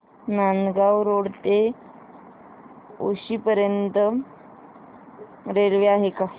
Nandgaon road ते उक्षी पर्यंत railway आहे का